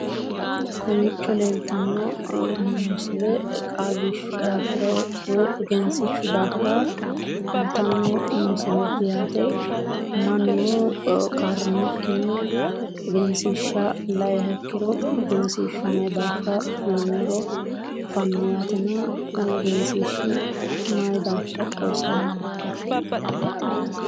Kowiicho leeltanno misile qaagishshu daafira woyi egensiishshu daafira kultanno misileeti yaate mannu qarramikkinni egensiishsha la"iha ikkiro egensiishshu mayi daafira kulannoro afanno yaatena kuni egensiishshi mayi daafira xawisannohokka?